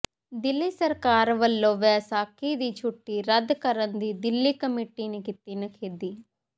ਦਿੱਲੀ ਸਰਕਾਰ ਵੱਲੋਂ ਵੈਸਾਖੀ ਦੀ ਛੁੱਟੀ ਰੱਦ ਕਰਨ ਦੀ ਦਿੱਲੀ ਕਮੇਟੀ ਨੇ ਕੀਤੀ ਨਿਖੇਧੀ